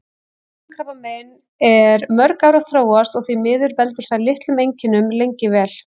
Lungnakrabbamein er mörg ár að þróast og því miður veldur það litlum einkennum lengi vel.